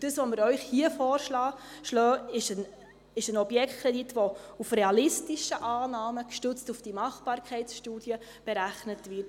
Was wir Ihnen hier vorschlagen, ist ein Objektkredit, der mit realistischen Annahmen, gestützt auf die Machbarkeitsstudie berechnet wurde.